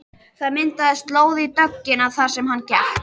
Það myndaðist slóð í dögg- ina þar sem hann gekk.